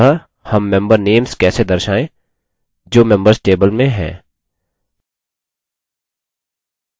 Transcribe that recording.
अतः हम member names कैसे दर्शायें जो members table में हैं